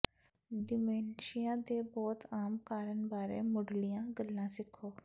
dementia ਦੇ ਬਹੁਤੇ ਆਮ ਕਾਰਨ ਬਾਰੇ ਮੁਢਲੀਆਂ ਗੱਲਾਂ ਸਿੱਖੋ